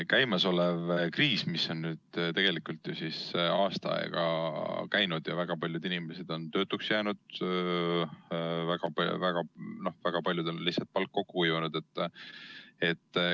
Käimas on kriis, mis on ju tegelikult aasta aega kestnud, ja väga paljud inimesed on töötuks jäänud, väga paljudel on lihtsalt palk kokku kuivanud.